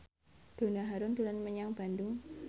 Donna Harun dolan menyang Bandung